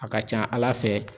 A ka ca ala fɛ